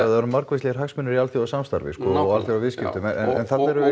það eru margvíslegir hagsmunir í alþjóðasamstarfi og alþjóðaviðskiptum en þá þurfum við